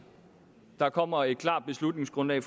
der kommer et klart beslutningsgrundlag